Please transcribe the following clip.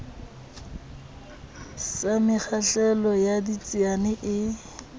sa mekgahlelo ya ditsiane e